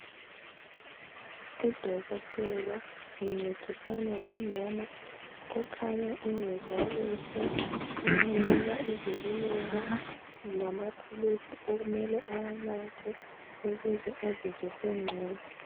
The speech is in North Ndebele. Udokotela uncedisana lomama okhanya engezwa kuhle uyamnika izeluleko lamaphilisi okumele awanathe ukuze azizwe esengcono.